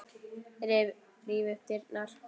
Ríf upp dyrnar.